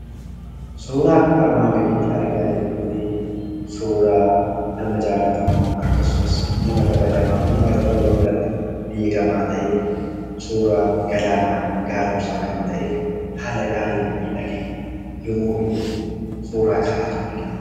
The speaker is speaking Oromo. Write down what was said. Suuraan kanaa gaditti argaa jirru kun suuraa nama jaallatamaa, akkasumas nama kabajamaa uummata Oromoo biratti beekamaa ta'e, suuraa Galaanaa Gaaromsaa kan ta'e haala gaariin miidhagee yemmuu inni itti suuraa ka'aa jiru argina.